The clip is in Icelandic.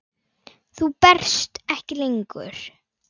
Þú berst ekki lengur.